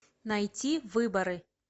найти выборы